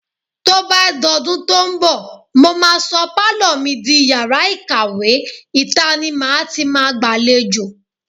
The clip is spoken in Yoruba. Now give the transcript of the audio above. Tó bá dọdún tó ń bọ̀, mó máa sọ pálọ̀ mi di yàrá ìkàwé, ìta ni màá ti máa gbàlejò.